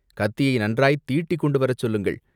கத்தியை நன்றாய்த் தீட்டிக் கொண்டு வரச் சொல்லுங்கள்!